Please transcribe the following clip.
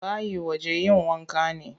Bayi wajen yin wanka ne.